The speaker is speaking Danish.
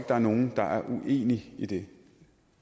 der er nogen der er uenig i det